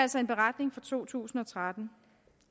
altså en beretning fra to tusind og tretten